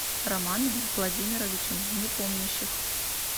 романом владимировичем непомнящих